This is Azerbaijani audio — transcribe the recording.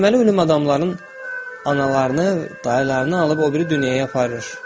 Deməli ölüm adamların analarını, dayılarını alıb o biri dünyaya aparır.